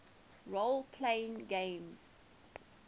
role playing games